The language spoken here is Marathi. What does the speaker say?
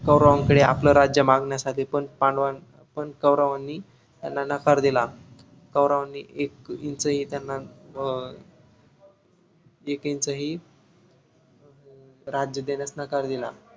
कौरवांकडे आपले राज्य मागण्यासाठी पण पांडव पण कौरवांनी त्यांना नकार दिला कौरवांनी एक INCH ही त्यांना अं एक INCH ही अं राज्य देण्यास नकार दिला